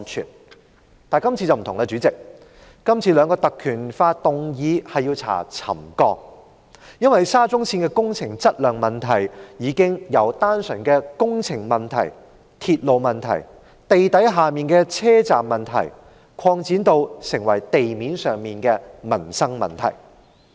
主席，但今次卻有所不同，今次兩項議案動議引用《條例》調查沉降，因為沙中線的工程質量問題，已經由單純的工程問題、鐵路問題、地底的車站問題，擴展成為地面上的民生問題。